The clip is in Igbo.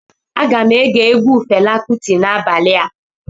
Aga m ege egwu Fela Kụti n'abalịa